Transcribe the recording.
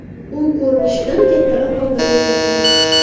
U ko‘rinishidan kattaroq olmani eslatardi.